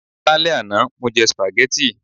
Lálẹ́ àná, mo jẹ spaghetti